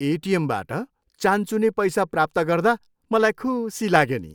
एटिएमबाट चानचुने पैसा प्राप्त गर्दा मलाई खुसी लाग्यो नि।